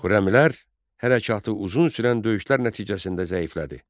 Xürrəmilər hərəkatı uzun sürən döyüşlər nəticəsində zəiflədi.